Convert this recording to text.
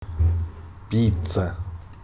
пицца